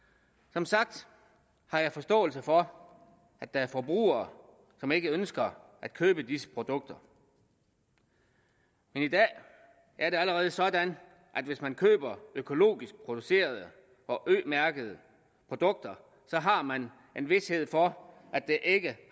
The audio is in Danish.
som sagt har jeg forståelse for at der er forbrugere som ikke ønsker at købe disse produkter men i dag er det allerede sådan at hvis man køber økologisk producerede og ø mærkede produkter har man en vished for at der ikke